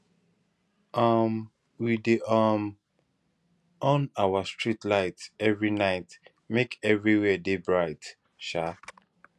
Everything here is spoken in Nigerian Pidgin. um we dey um on our street light every night make everywhere dey bright um